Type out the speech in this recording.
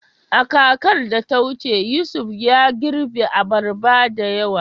A kakar da ta wuce, Yusuf ya girbe abarba da yawa.